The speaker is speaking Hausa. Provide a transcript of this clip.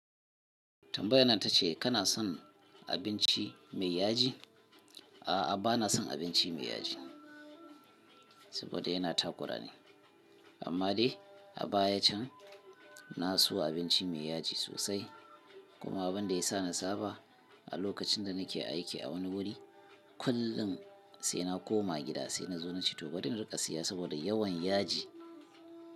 Tambayar nan ta ce kana son abinci mai yaji? A'a bana son abinci mai yaji saboda yana takura ne. Amma dai a baya can na so abinci mai yaji sosai kuma abin da ya sa na saba a lokacin da nake aiki a wani wuri, kullum sai na koma gida sai na zo na ci to bari in riƙa siya saboda yawan yaji.